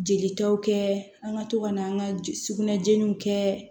Jelitaw kɛ an ka to ka na an ka sugunɛ jeniw kɛ